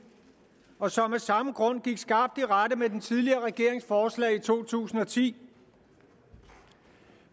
og som af samme grund gik skarpt i rette med den tidligere regerings forslag i to tusind og ti